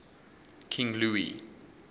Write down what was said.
king louis